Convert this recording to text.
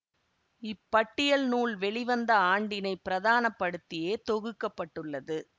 இப்பட்டியல் நூல் வெளிவந்த ஆண்டினை பிரதான படுத்தியே தொகுக்க பட்டுள்ளது